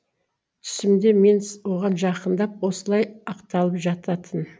түсімде мен с оған жақындап осылай ақталып жататын